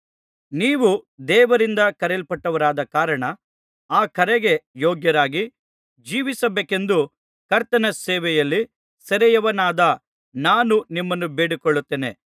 ನೀವು ದೇವರಿಂದ ಕರೆಯಲ್ಪಟ್ಟವರಾದ ಕಾರಣ ಆ ಕರೆಗೆ ಯೋಗ್ಯರಾಗಿ ಜೀವಿಸಬೇಕೆಂದು ಕರ್ತನ ಸೇವೆಯಲ್ಲಿ ಸೆರೆಯವನಾದ ನಾನು ನಿಮ್ಮನ್ನು ಬೇಡಿಕೊಳ್ಳುತ್ತೇನೆ